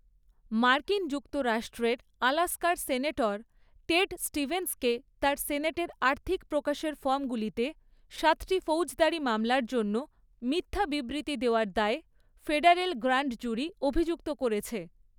মার্কিন যুক্তরাষ্ট্রের আলাস্কার সেনেটর টেড স্টিভেনসকে তার সেনেটের আর্থিক প্রকাশের ফর্মগুলিতে সাতটি ফৌজদারি মামলার জন্য মিথ্যা বিবৃতি দেওয়ার দায় ফেডারেল গ্র্যান্ড জুরি অভিযুক্ত করেছে।